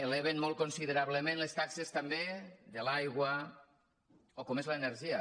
eleven molt considerablement les taxes també de l’aigua o el que és l’energia